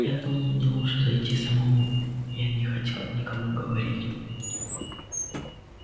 я думал мне лучше зайти самому я не хотел никому говорить